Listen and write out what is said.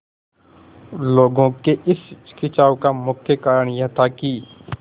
लोगों के इस खिंचाव का मुख्य कारण यह था कि